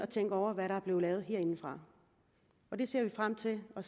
tænke over hvad der er blevet lavet herindefra vi ser frem til at